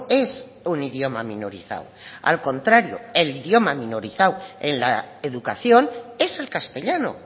es un idioma minorizado al contrario el idioma minorizado en la educación es el castellano